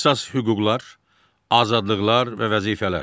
Əsas hüquqlar, azadlıqlar və vəzifələr.